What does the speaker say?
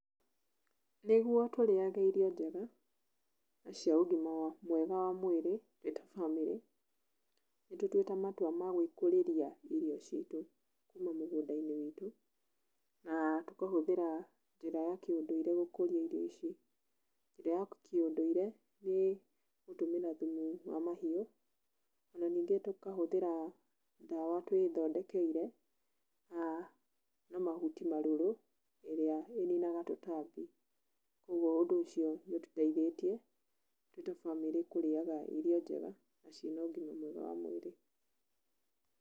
Nĩguo tũrĩage irio njega na cia ũgima wa mwega wa mwĩrĩ twĩta bamĩrĩ, nĩ tũtuĩte matua ma gwĩkũrĩria irio ciitũ kuuma mũgũnda-inĩ witũ na tũkahũthĩra njĩra ya kĩũndũire gũkũria irio ici. Njĩra ya kĩũndũire nĩ gũtũmĩra thumu wa mahiũ, ona nyingĩ tũkahũthĩra ndawa twĩthondekeire na mahuti marũrũ ĩrĩa ĩninaga tũtambi. Koguo ũndũ ũcio nĩ ũtũteithĩtie twĩ ta bamĩrĩ kũrĩaga irio njega na ciĩna ũgima mwega wa mwĩrĩ.